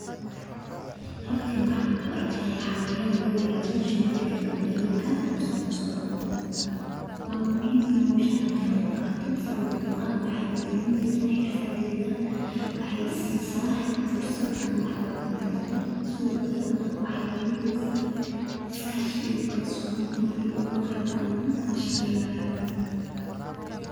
Halkani waxan ku arki haya xayawan lo yirahdo shimbirta gambalelka o safa u socdan, waa muhiim ina hoshan ka qeeb qaato; sawabto ah waxee hormarineysaa xirfadeyda, waxee isi saa fursad an wax ku baarto, sitho kalee waxee abureysaa iskashigaa iyo kalsoni aniga iyo koxdaa an lashaqeynayo.